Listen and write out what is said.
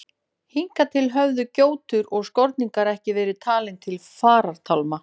Hingað til höfðu gjótur og skorningar ekki verið talin til farartálma.